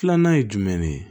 Filanan ye jumɛn ne ye